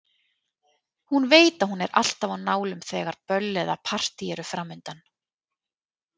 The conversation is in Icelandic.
Hún veit að hún er alltaf á nálum þegar böll eða partí eru framundan.